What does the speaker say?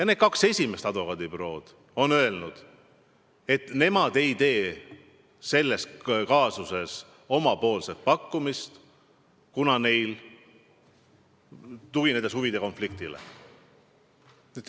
Need kaks esimest advokaadibürood on öelnud, et nemad ei tee selles kaasuses omapoolset pakkumist, kuna neil on huvide konflikt.